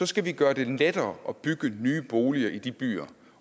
skal vi gøre det lettere at bygge nye boliger i de byer